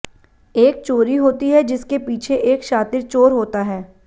एक चोरी होती है जिसके पीछे एक शातिर चोर होता है